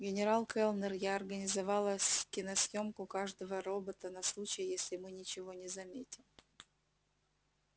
генерал кэллнер я организовала с киносъёмку каждого робота на случай если мы ничего не заметим